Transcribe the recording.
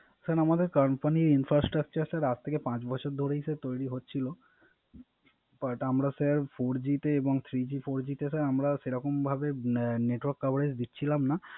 Sir আমাদের Company infrastructure sir আজ থেকে পাচ বছর ধরেই তৈরি হচ্ছিল। But আমরা Sir four G তে three G four G তে আমরা সেরকমভাবে Network coverage দিচ্ছিলাম না